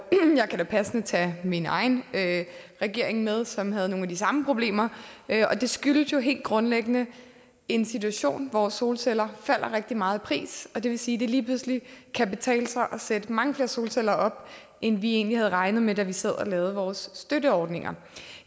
kan da passende tage min egen regering med som havde nogle af de samme problemer det skyldes jo helt grundlæggende en situation hvor solceller falder rigtig meget i pris og det vil sige at det lige pludselig kan betale sig at sætte mange flere solceller op end vi egentlig havde regnet med da vi sad og lavede vores støtteordninger